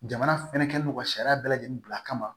Jamana fɛnɛ kɛlen don ka sariya bɛɛ lajɛlen bila a kama